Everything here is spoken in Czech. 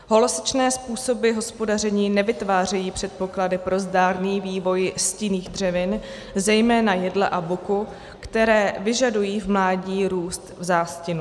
Holosečné způsoby hospodaření nevytvářejí předpoklady pro zdárný vývoj stinných dřevin, zejména jedle a buku, které vyžadují v mládí růst v zástinu.